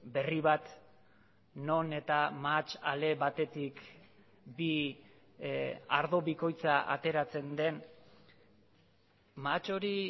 berri bat non eta mahats ale batetik bi ardo bikoitza ateratzen den mahats hori